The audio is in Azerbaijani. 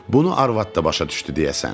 Bunu arvad da başa düşdü deyəsən.